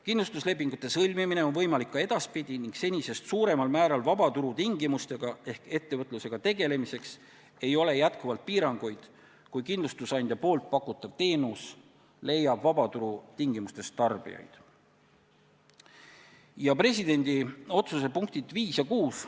Kindlustuslepingute sõlmimine on võimalik ka edaspidi ning senisest suuremal määral vabaturu tingimustega ehk ettevõtlusega tegelemiseks ei ole jätkuvalt piiranguid, kui kindlustusandja pakutav teenus leiab vabaturul tarbijaid.